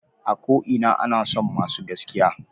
A ko ina ana son masu gaskiya.